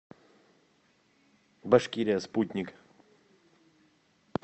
башкирия спутник